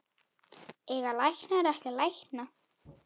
Eiga læknar ekki að lækna?